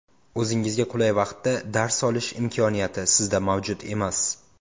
O‘zingizga qulay vaqtda dars olish imkoniyati sizda mavjud emas!